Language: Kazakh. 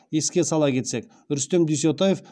еске сала кетсек рүстем дүйсетаев